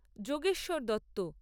Yogeshwar Dutta